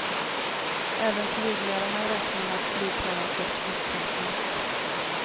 Även flygledarna räknar med att flygkaoset upprepas.